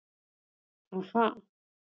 Ha- ha.